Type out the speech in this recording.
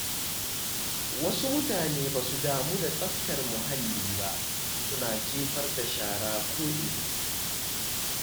Wasu mutanen ba su damu da tsaftar muhalli ba, suna jefar da shara ko’ina.